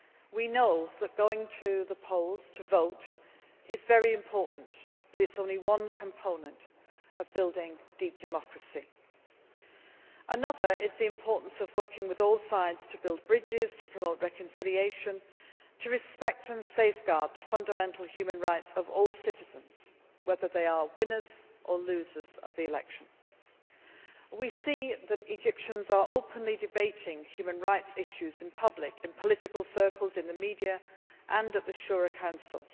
We know that going to the polls to vote is very important, but it is only one component of building deep democracy. Another is the importance of working with all sides to build bridges, to promote reconciliation, to respect and safeguard the fundamental human rights of all citizens, whether they are winners' or losers' of the election. We see that Egyptians are openly debating human rights issues in public, in political circles, in the media, and at the Shura Council.